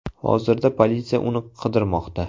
Hozirda politsiya uni qidirmoqda.